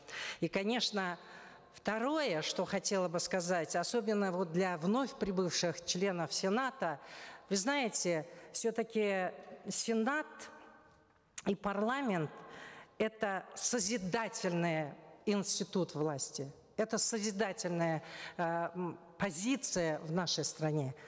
и конечно второе что хотела бы сказать особенно вот для вновь прибывших членов сената вы знаете все таки сенат и парламент это созидательный институт власти это созидательная э м позиция в нашей стране